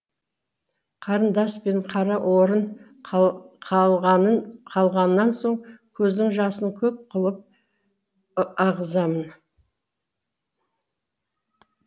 қарындас пен қара орын қалғаннан соң көздің жасын көп қылып ағызамын